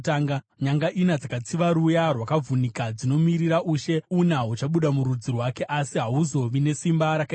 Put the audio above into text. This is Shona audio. Nyanga ina dzakatsiva ruya rwakavhunika dzinomirira ushe una huchabuda murudzi rwake asi hahuzovi nesimba rakaenzana.